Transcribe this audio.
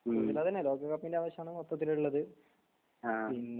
ഹമ് ആഹ്